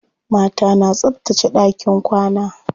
Mata na tsabtace ɗakin kwana.